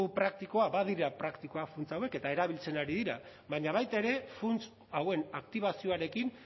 praktikoa badira praktikoak funtsa hauek eta erabiltzen ari dira baina baita ere funts hauen aktibazioarekin